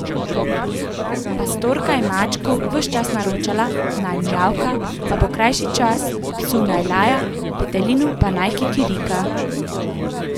Pastorka je mačku ves čas naročala, naj mijavka, da bo krajši čas, psu, naj laja, petelinu pa, naj kikirika.